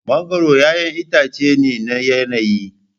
Mangoro 'ya'yan itace ne na yanayi.